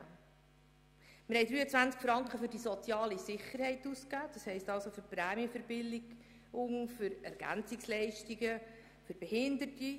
Wir haben 23 Franken für die soziale Sicherheit ausgegeben, das heisst für Prämienverbilligungen, Ergänzungsleistungen und Behinderte.